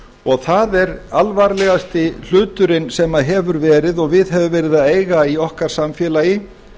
og það er alvarlegasti hluturinn sem hefur verið og við hefur verið að eiga í okkar samfélagi